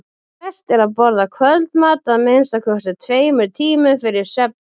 best er að borða kvöldmat að minnsta kosti tveimur tímum fyrir svefninn